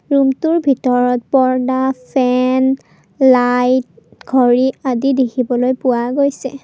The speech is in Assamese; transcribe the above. ৰুমটোৰ ভিতৰত পৰ্দা ফেন লাইট ঘড়ী দেখিবলৈ পোৱা গৈছে।